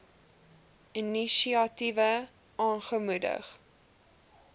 inisiatiewe aangemoedig